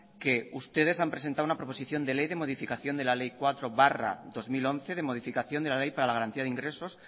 que ustedes han presentado una proposición de ley de modificación de la ley cuatro barra dos mil once de modificación de la ley para la garantía de ingresos